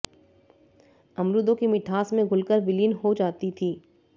अमरूदों की मिठास में घुलकर विलीन हो जाती थीं